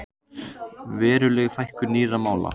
Veruleg fækkun nýrra mála